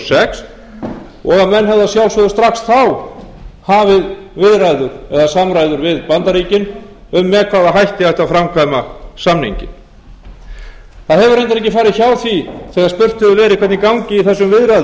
sex og að menn hefðu að sjálfsögðu strax þá hafið viðræður eða samræður við bandaríkin um með hvaða hætti ætti að við bandaríkin um með hvaða hætti ætti að framkvæma samninginn það hefur reyndar ekki farið hjá því þegar spurt hefur verið hvernig gangi í þessum